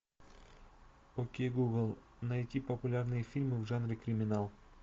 окей гугл найти популярные фильмы в жанре криминал